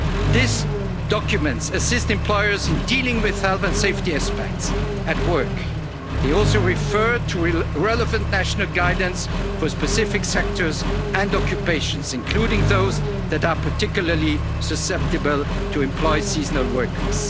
after COVID. These documents assist employers in dealing with health and safety aspects at work. They also refer to the relevant national guidance for specific sectors and occupations, including those that are particularly susceptible to employ